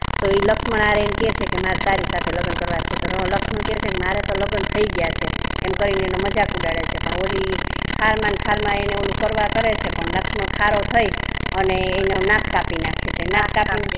તો લક્ષ્મણ ને આવી ને કહે છે કે મને તારી સાથે લગ્ન કરવા છે લક્ષ્મણ કહે છે કે મારે તો લગ્ન થઈ ગયા છે એમ કહીને એની મજાક ઉડાવે છે પણ હોલી ખાર મા ખાર માને એનુ ઓલું કરે છે અને લક્ષ્મણ ખારો થઈ અને એનો નાક કાપી નાખે છે નાક કાપીને